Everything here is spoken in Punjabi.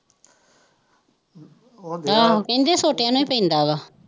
ਹਾਂ ਕਹਿੰਦੇ ਛੋਟਿਆਂ ਨੂੰ ਹੀ ਪੈਂਦਾ ਵਾ